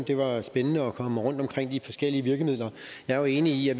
det var spændende at komme rundt omkring de forskellige virkemidler jeg er jo enig i at